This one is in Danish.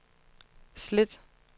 slet